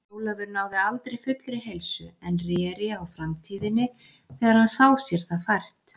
Ólafur náði aldrei fullri heilsu, en réri á Framtíðinni þegar hann sá sér það fært.